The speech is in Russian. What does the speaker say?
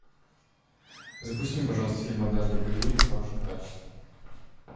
запусти мне пожалуйста фильм однажды в голливуде в хорошем качестве